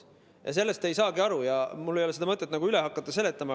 Sellest te ei saagi aru ja mul ei ole mõtet hakata seda üle seletama.